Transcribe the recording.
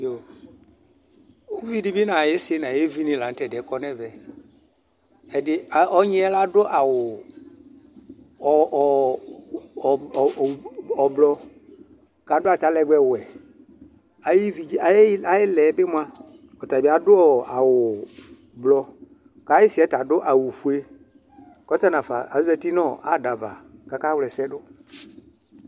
Uvi di bɩ nʋ ayisɩ nʋ ayevi ni la nʋ tɛdiɛ kɔ nʋ ɛvɛ Ɔnyi yɛ ladʋ awʋ ʋblʋ, kʋ adʋ atalɛgbɛwɛ Ayilɛ yɛ bɩ mʋa, ɔtabɩ adʋ awʋ ʋblɔ Kʋ ayisɩ ta adʋ awʋfue, kʋ ɔta nafa azǝtɩ nʋ ada ava, kʋ akawla ɛsɛ dʋ